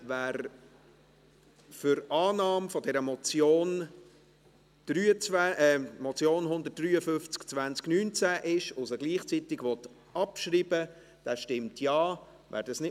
Wer für die Annahme dieser Motion 153-2019 ist und sie gleichzeitig abschreiben will, stimmt Ja, wer dies ablehnt, stimmt Nein.